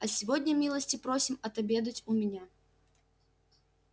а сегодня милости просим отобедать у меня